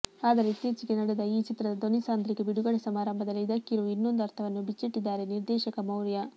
ಆದರೆ ಇತ್ತೀಚೆಗೆ ನಡೆದ ಈ ಚಿತ್ರದ ಧ್ವನಿಸಾಂದ್ರಿಕೆ ಬಿಡುಗಡೆ ಸಮಾರಂಭದಲ್ಲಿ ಇದಕ್ಕಿರುವ ಇನ್ನೊಂದು ಅರ್ಥವನ್ನು ಬಿಚ್ಚಿಟ್ಟಿದ್ದಾರೆ ನಿರ್ದೇಶಕ ಮೌರ್ಯ